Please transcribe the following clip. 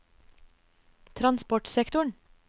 transportsektoren